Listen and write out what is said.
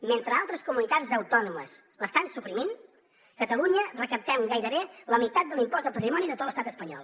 mentre altres comunitats autònomes l’estan suprimint a catalunya recaptem gairebé la meitat de l’impost de patrimoni de tot l’estat espanyol